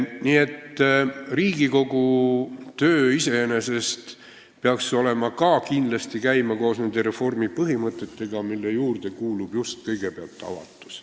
Nii et Riigikogu töö iseenesest peaks ka kindlasti käima koos nende reformi põhimõtetega, mille juurde kuulub just kõigepealt avatus.